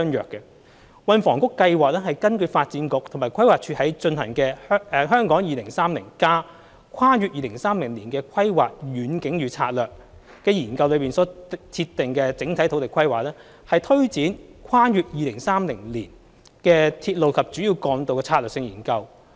運輸及房屋局計劃根據發展局和規劃署在進行的《香港 2030+： 跨越2030年的規劃遠景與策略》研究內所設定的整體土地規劃，推展《跨越2030年的鐵路及主要幹道策略性研究》。